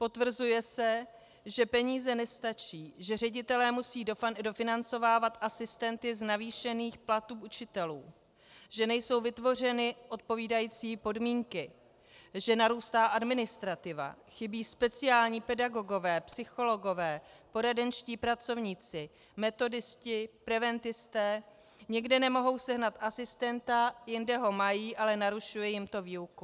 Potvrzuje se, že peníze nestačí, že ředitelé musí dofinancovávat asistenty z navýšených platů učitelů, že nejsou vytvořeny odpovídající podmínky, že narůstá administrativa, chybí speciální pedagogové, psychologové, poradenští pracovníci, metodisté, preventisté, někde nemohou sehnat asistenta, jinde ho mají, ale narušuje jim to výuku.